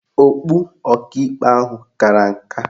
Okpu Ọkaikpe ahụ kara nka